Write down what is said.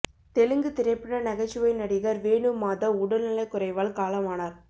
தெலுங்கு திரைப்பட நகைச்சுவை நடிகர் வேணு மாதவ் உடல்நலக் குறைவால் காலமானார்